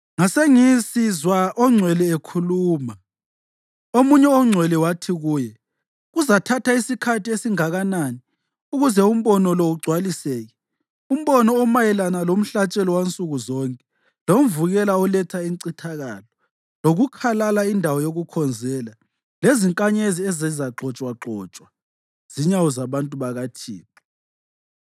Ngasengisizwa ongcwele ekhuluma, omunye ongcwele wathi kuye, “Kuzathatha isikhathi esingakanani ukuze umbono lo ugcwaliseke, umbono omayelana lomhlatshelo wansuku zonke, lomvukela oletha incithakalo, lokukhalala indawo yokukhonzela, lezinkanyezi ezizagxotshwagxotshwa zinyawo zabantu bakaThixo?”